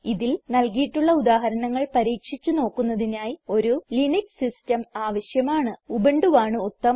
ഇതിൽ നൽകിയിട്ടുള്ള ഉദാഹരണങ്ങൾ പരീക്ഷിച്ച് നോക്കുന്നതിനായി ഒരു ലിനക്സ് സിസ്റ്റം ആവശ്യമാണ് ഉബുണ്ടുവാണ് ഉത്തമം